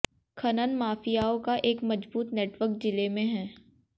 खनन माफियाओं का एक मजबूत नेटवर्क जिले में है